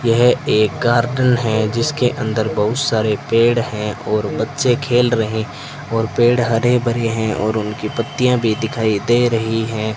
यह एक गार्डन है जिसके अंदर बहुत सारे पेड़ हैं और बच्चे खेल रहे और पेड़ हरे भरे हैं और उनकी पत्तियां भी दिखाई दे रही हैं।